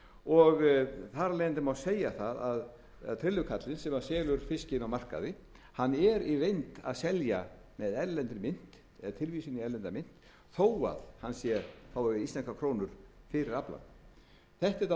og þar af leiðandi má segja að trillukarlinn sem selur fiskinn á markaði er í reynd að selja með erlendri mynt eða tilvísun í erlenda mynt þó að hann fái íslenskar krónur fyrir aflann þetta er dálítið